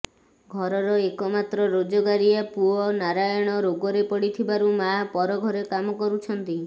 ଘରର ଏକମାତ୍ର ରୋଜଗାରିଅ ପୁଅ ନାରାୟଣ ରୋଗରେ ପଡ଼ିଥିବାରୁ ମାଆ ପର ଘରେ କାମ କରୁଛନ୍ତି